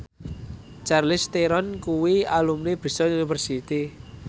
Charlize Theron kuwi alumni Bristol university